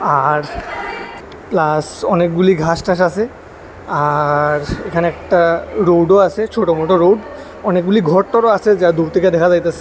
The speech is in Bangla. পাহাড় প্লাস অনেকগুলি ঘাস টাস আসে আর এখানে একটা রোডও -ও আসে ছোট মোটো রোড অনেকগুলি ঘরটরও আসে যা দূর থেকে দেখা যাইতেছে।